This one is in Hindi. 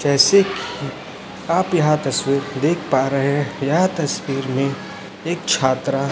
जैसे आप यहां तस्वीर देख पा रहे हैं यह तस्वीर में एक छात्रा--